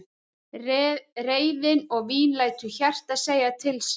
Reiðin og vín lætur hjartað segja til sín.